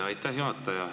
Aitäh, juhataja!